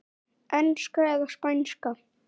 Enska eða Spænska?